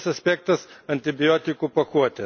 Kitas aspektas antibiotikų pakuotės.